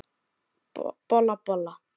Bolla, bolla!